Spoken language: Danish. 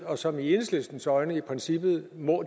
og som i enhedslistens øjne i princippet må